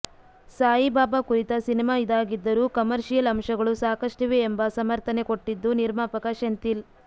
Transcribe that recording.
ಸಾಯಿಬಾಬಾ ಕುರಿತ ಸಿನಿಮಾ ಇದಾಗಿದ್ದರೂ ಕಮರ್ಷಿಯಲ್ ಅಂಶಗಳು ಸಾಕಷ್ಟಿವೆ ಎಂಬ ಸಮರ್ಥನೆ ಕೊಟ್ಟಿದ್ದು ನಿರ್ಮಾಪಕ ಸೆಂಥಿಲ್